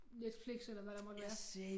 Netflix eller hvad der måtte være